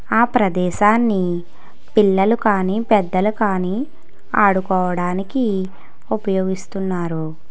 ఆ ప్రదేశాన్ని పిల్లలు కానీ పెద్దలు కానీ ఆడుకోవడానికి ఉపయోగిస్తున్నారు.